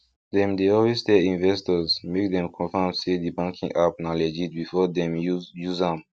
dem dey always tell investors make dem confirm say the banking app na legit before dem use use am